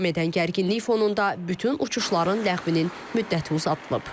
Davam edən gərginlik fonunda bütün uçuşların ləğvinin müddəti uzadılıb.